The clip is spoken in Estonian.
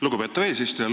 Lugupeetav eesistuja!